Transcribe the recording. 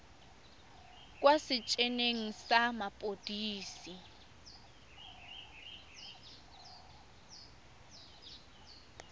kwa setei eneng sa mapodisi